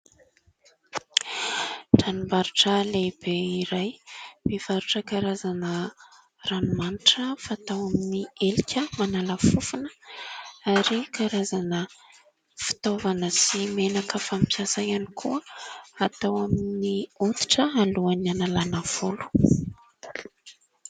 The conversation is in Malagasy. Tranombarotra lehibe iray, mivarotra karazana ranomanitra fatao amin'ny elika, manala fofona ; ary karazana fitaovana sy menaka fampiasa ihany, koa atao amin'ny hoditra alohan'ny hanalana volo.